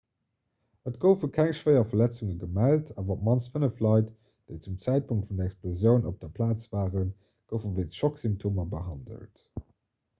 et goufe keng schwéier verletzunge gemellt awer op d'mannst fënnef leit déi zum zäitpunkt vun der explosioun op der plaz waren goufe wéinst schocksymptomer behandelt